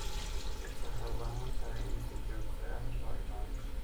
Rugta waxay u baahan tahay in si joogto ah loo ilaaliyo.